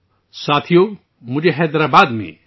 دوستو، میں حیدرآباد میں ہوں